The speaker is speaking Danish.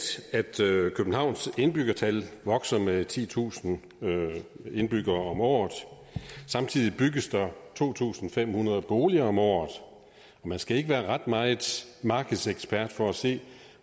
at københavns indbyggertal vokser med titusind indbyggere om året samtidig bygges der to tusind fem hundrede boliger om året man skal ikke være ret meget markedsekspert for at se